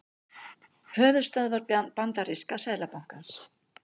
Höfuðstöðvar bandaríska seðlabankans.